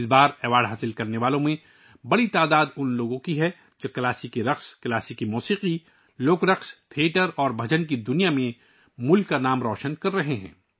اس بار اعزاز حاصل کرنے والوں کی ایک بڑی تعداد وہ ہے جو کلاسیکی رقص، کلاسیکی موسیقی، لوک رقص، تھیٹر اور بھجن کی دنیا میں ملک کا نام روشن کر رہے ہیں